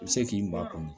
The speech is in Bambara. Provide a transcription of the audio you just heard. I bɛ se k'i ba a kɔnɔ